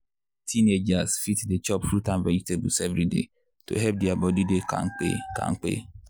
teenagers fit dey chop fruit and vegetables every day to help their body dey kampe. kampe.